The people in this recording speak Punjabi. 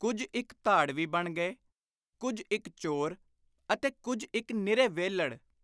ਕੁਝ ਇਕ ਧਾੜਵੀ ਬਣ ਗਏ; ਕੁਝ ਇਕ ਚੋਰ; ਅਤੇ ਕੁਝ ਇਕ ਨਿਰੇ ਵਿਹਲੜ।